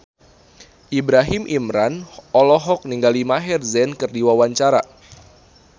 Ibrahim Imran olohok ningali Maher Zein keur diwawancara